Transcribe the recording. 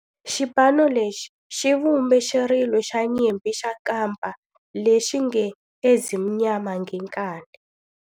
Xipano lexi xi vumbe xirilo xa nyimpi xa kampa lexi nge 'Ezimnyama Ngenkani'.